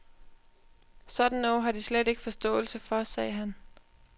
Sådan noget har de slet ikke forståelse for, sagde han.